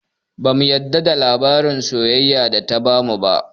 Bamu yarda da labarin soyayyan da ta bamu ba